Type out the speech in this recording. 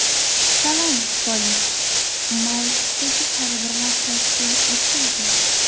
Salom, kollej!” mavzuidagi tadbirlar tashkil etildi.